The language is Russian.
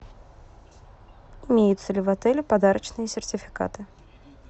имеются ли в отеле подарочные сертификаты